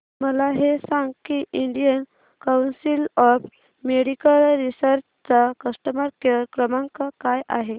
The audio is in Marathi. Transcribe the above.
मला हे सांग की Indian council of medical research चा कस्टमर केअर क्रमांक काय आहे